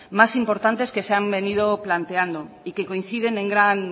más importantes que se han venido planteando y que coinciden en gran